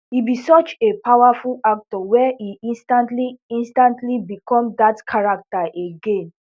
e be such a powerful actor wey e instantly instantly become dat character again